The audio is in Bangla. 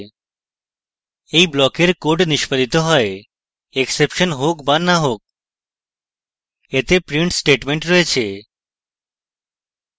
এই ব্লকের code নিষ্পাদিত has exception হোক the the হোক এতে print statement রয়েছে